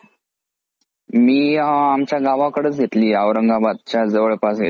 मी आमच्या गावाकडचं घेतलीये औरंगाबादच्या जवळपास घेतलीये.